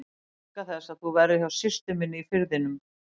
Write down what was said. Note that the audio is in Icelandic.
Ég óska þess að þú verðir hjá systur minni í Firðinum.